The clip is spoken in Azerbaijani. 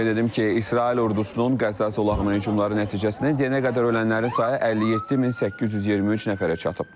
Qeyd edim ki, İsrail ordusunun qəza zolağına hücumları nəticəsində yenə qədər ölənlərin sayı 57823 nəfərə çatıb.